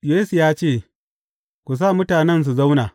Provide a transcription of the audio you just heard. Yesu ya ce, Ku sa mutanen su zauna.